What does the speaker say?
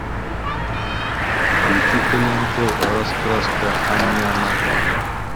включи ка ленту раскраска ам няма